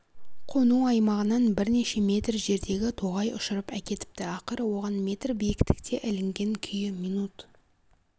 қону аймағынан бірнеше метр жердегі тоғай ұшырып әкетіпті ақыры оған метр биіктікте ілінген күйі минут